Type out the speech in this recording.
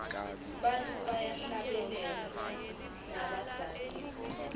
bantfu bayahlabela nabadzakiwe